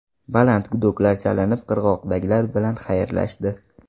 Baland gudoklar chalinib qirg‘oqdagilar bilan xayrlashdi.